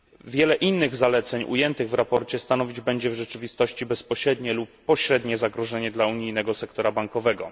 Wiele innych zaleceń ujętych w sprawozdaniu stanowić będzie w rzeczywistości bezpośrednie lub pośrednie zagrożenie dla unijnego sektora bankowego.